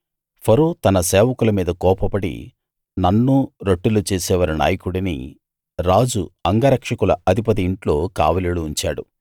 ఫరో తన సేవకుల మీద కోపపడి నన్నూ రొట్టెలు చేసేవారి నాయకుడినీ రాజు అంగరక్షకుల అధిపతి ఇంట్లో కావలిలో ఉంచాడు